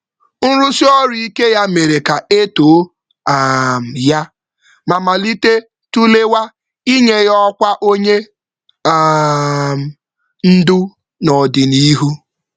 Mgbalị ya na-aga n’ihu kpaliri nnabata na mkparịta ụka banyere ọrụ ndu n’ọdịnihu.